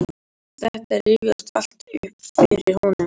Þetta rifjast allt upp fyrir honum.